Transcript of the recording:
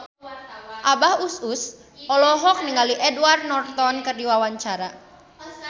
Abah Us Us olohok ningali Edward Norton keur diwawancara